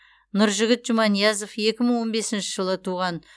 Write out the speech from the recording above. нұржігіт жұманиязов екі мың он бесінші жылы туған